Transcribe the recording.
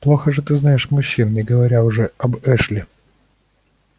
плохо же ты знаешь мужчин не говоря уже об эшли